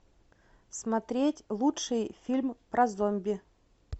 смотреть лучший фильм про зомби